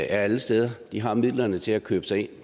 er alle steder de har midlerne til at købe sig ind